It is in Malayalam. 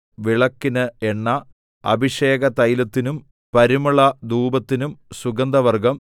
വിളക്കിന് എണ്ണ അഭിഷേകതൈലത്തിനും പരിമളധൂപത്തിനും സുഗന്ധവർഗ്ഗം